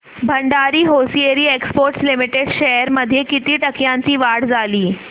Bhandari hosiery exports limited shares मध्ये किती टक्क्यांची वाढ झाली